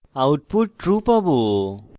output true পাবো